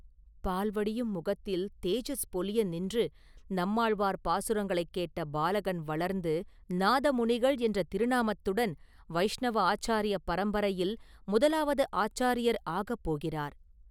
பால் வடியும் முகத்தில் தேஜஸ் பொலிய நின்று நம்மாழ்வார் பாசுரங்களைக் கேட்ட பாலகன் வளர்ந்து, நாதமுனிகள் என்ற திருநாமத்துடன் வைஷ்ணவ ஆச்சாரிய பரம்பரையில் முதலாவது ஆச்சாரியார் ஆகப் போகிறார்.